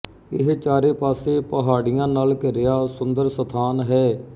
ਇਹ ਚਾਰੇ ਪਾਸੇ ਪਹਾੜੀਆਂ ਨਾਲ ਘਿਰਿਆ ਸੁੰਦਰ ਸਥਾਨ ਹੈ